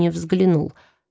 не взглянул